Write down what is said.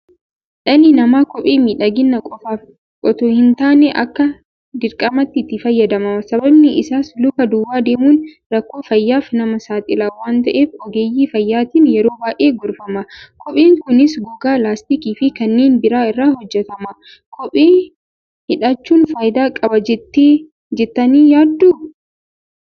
Dhalli namaa Kophee miidhagina qofaaf itoo hintaane akka dirqamaatti itti fayyadama. Sababni isaas luka duwwaa deemuun rakkoo fayyaaf nama saaxila waanta'eef ogeeyyii fayyaatiin yeroo baay'ee gorfama. Kopheen Kunis Gogaa, Laastikiifi kanneen birii irraa hojjetama. Kophee hidhachuun Faayidaa qaba jettanii yaadduu?